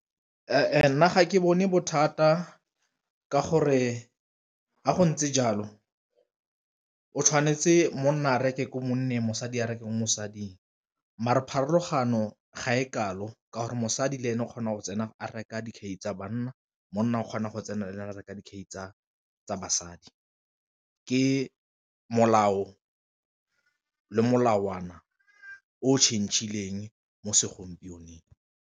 nna ga ke bone bothata ka gore ga go ntse jalo o tshwanetse monna a reke ko monna le mosadi a reke mosading, mare pharologano ga e kalo ka gore mosadi le ene o kgona go tsena a reka dikhai tsa banna, monna o kgona go tsena le ene a reka dikhai tsa basadi ke molao le molawana o change-ileng mo segompienong.